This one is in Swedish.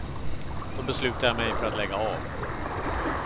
Då beslutade jag mig för att lägga av.